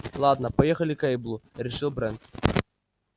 ладно поехали к эйблу решил брент